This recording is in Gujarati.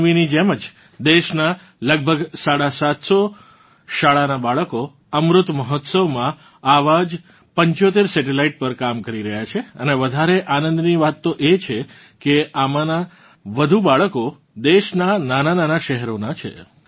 તન્વીની જેમ જ દેશનાં લગભગ સાડા સાતસો સ્કૂલ સ્ટુડન્ટ અમૃત મહોત્સવમાં આવાં જ 75 સેટેલાઇટ પર કામ કરી રહ્યાં છે અને વધારે આનંદની વાત તો એ છે કે આમાનાં વધુ સ્ટુડન્ટ્સ દેશનાં નાનાં શહેરોનાં છે